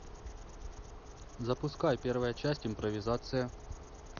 запускай первая часть импровизация